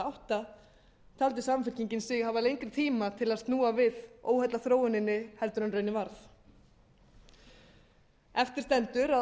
átta taldi samfylkingin sig hafa lengri tíma til að snúa við óheillaþróuninni heldur en raunin varð eftir stendur að